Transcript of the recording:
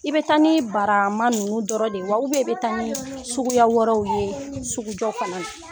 I bɛ taa ni barama ninnu dɔrɔn de ye wa, i bɛ taa ni suguya wɛrɛw ye sugujɔw fana na.